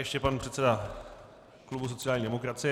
Ještě pan předseda klubu sociální demokracie.